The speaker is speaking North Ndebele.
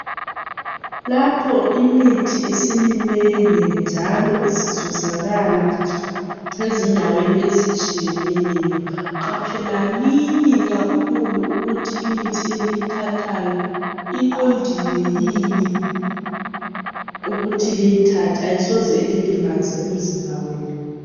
Lapho imithi isiminengi njalo isizuzakala ezindaweni ezitshiyeneyo qaphelanini kakhulu ukuthi imithi eliyithathayo iqondile yini ukuthi liyithathe ayisoze ililimaze yini